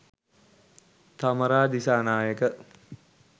thamara disanayake